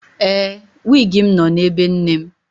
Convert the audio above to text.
Ee, wịgị m nọ na ebe nne m.